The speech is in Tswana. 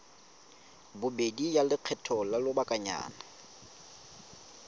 bobedi ya lekgetho la lobakanyana